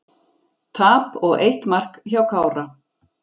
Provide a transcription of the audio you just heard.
Tap og eitt mark hjá Kára